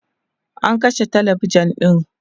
an kashe talabijan ɗin